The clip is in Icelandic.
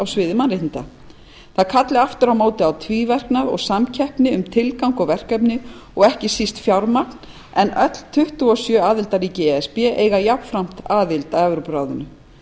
sviði mannréttinda það kalli aftur á móti á tvíverknað og samkeppni um tilgang og verkefni og ekki síst fjármagn en öll tuttugu og sjö aðildarríki e s b eiga jafnframt aðild að evrópuráðinu